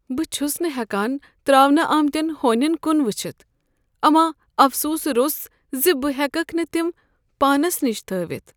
بہٕ چھس نہٕ ہٮ۪کان ترٛاونہٕ آمتٮ۪ن ہونٮ۪ن کن وٕچھتھ امہ افسوٗسہٕ روٚس ز بہٕ ہٮ۪ککھ نہٕ تم پانس نش تھٲوتھ۔